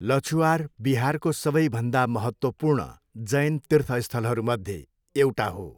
लछुआर बिहारको सबैभन्दा महत्त्वपूर्ण जैन तीर्थस्थलहरूमध्ये एउटा हो।